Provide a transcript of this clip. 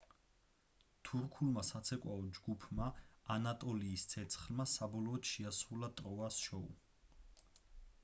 თურქულმა საცეკვაო ჯგუფმა ანატოლიის ცეცხლმა საბოლოოდ შეასრულა ტროას შოუ